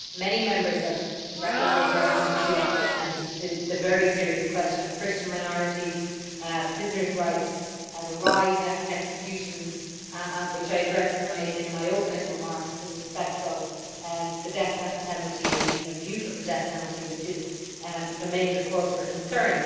Many Members have made reference to the very serious question of Christian minorities, prisoners' rights, the rise in executions, which I addressed in my opening remarks in respect of the death penalty, and the abuse of the death penalty, which is a major cause for concern.